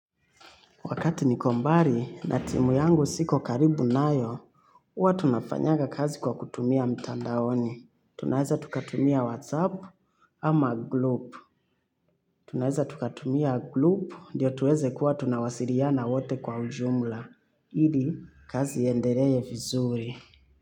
Wakati niko mbali na timu yangu siko karibu nayo, huwa tunafanyaga kazi kwa kutumia mtandaoni. Tunaeza tukatumia WhatsApp ama group. Tunaeza tukatumia group ndio tuweze kuwa tunawasiliana wote kwa ujumla. Ili, kazi iendelew vizuri.